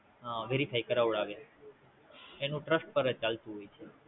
હમ Verify કરાવડાવે એનું Trust પરજ ચાલતું હોય છે